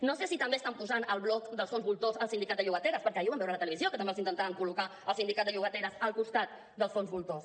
no sé si també estan posant al bloc dels fons voltors el sindicat de llogateres perquè ahir ho vam veure a la televisió que també els intentaven col·locar el sindicat de llogateres al costat dels fons voltors